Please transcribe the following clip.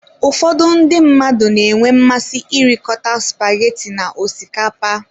Ụfọdụ ndị mmadụ na-enwe mmasị irikọta spaghetti na osikapa.